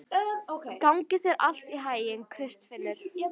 Gangi þér allt í haginn, Kristfinnur.